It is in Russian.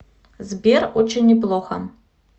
сбер очень неплохо